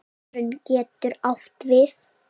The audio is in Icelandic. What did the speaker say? Tilraun getur átt við